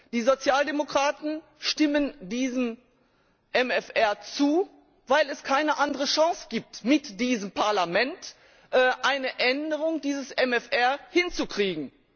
Die Sozialdemokraten stimmen diesem MFR zu, weil es keine andere Chance gibt, mit diesem Parlament eine Änderung dieses MFR hinzukriegen.